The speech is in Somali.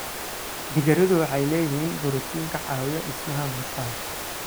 Digiradu waxay leeyihiin borotiin ka caawiya dhismaha murqaha.